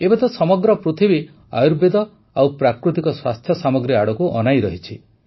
ଏବେ ତ ସମଗ୍ର ପୃଥିବୀ ଆୟୁର୍ବେଦ ଓ ପ୍ରାକୃତିକ ସ୍ୱାସ୍ଥ୍ୟ ସାମଗ୍ରୀ ଆଡ଼କୁ ଅନାଇରହିଛି